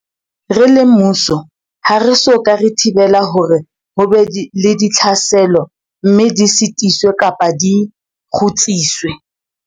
Re le mmuso ha re so ka re thibela hore ho be le ditlhaselo mme di sitiswe kapa di kgutsiswe.